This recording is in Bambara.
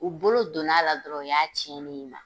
U bolo donn'a la dɔrɔn, o y'a tiɲɛnen i na.